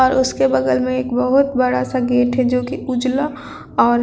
और उस के बगल में एक बोहोत बड़ा सा गेट है जो की उजला और--